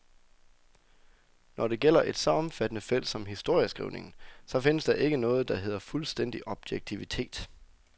Når det gælder et så omfattende felt som historieskrivningen, så findes der ikke noget, der hedder fuldstændig objektivitet.